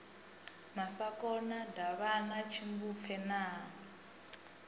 masakona davhana tshimbupfe na ha